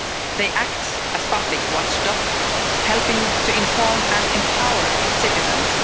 They act as public watchdogs, helping to inform and empower citizens.